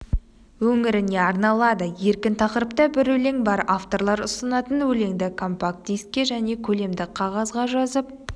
өңіріне арналады еркін тақырыпта бір өлең бар авторлар ұсынатын өлеңді компакт-дискіге және көлемді қағазға жазып